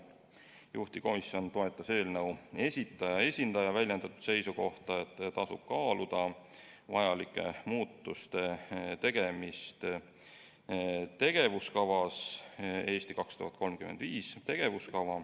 Juhtivkomisjon toetas eelnõu esitaja esindaja väljendatud seisukohta, et tasub kaaluda vajalike muudatuste tegemist tegevuskavas "Eesti 2035".